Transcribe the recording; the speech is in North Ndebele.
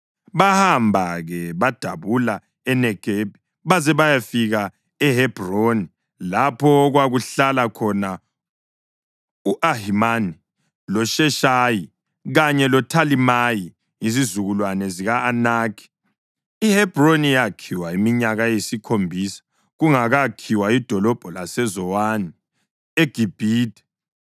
Bahamba-ke badabula eNegebi baze bayafika eHebhroni, lapho okwakuhlala khona u-Ahimani, loSheshayi kanye loThalimayi, izizukulwane zika-Anakhi. (IHebhroni yakhiwa iminyaka eyisikhombisa kungakakhiwa idolobho laseZowani eGibhithe.)